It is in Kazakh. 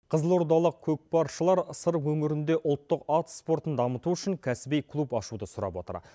қызылордалық көкпаршылар сыр өңірінде ұлттық ат спортын дамыту үшін кәсіби клуб ашуды сұрап отыр